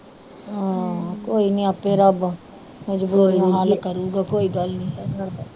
ਆਹ ਕੋਈ ਨੀ ਆਪੇ ਰੱਬ ਮਜਬੂਰੀਆਂ ਦਾ ਹਾਲ ਕਰੂਗਾ ਕੋਈ ਗੱਲ ਨੀ